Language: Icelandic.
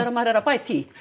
maður er að bæta í